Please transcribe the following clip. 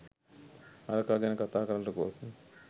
හරකා ගැන කතා කරන්නට ගොස්